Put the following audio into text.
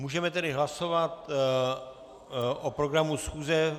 Můžeme tedy hlasovat o programu schůze.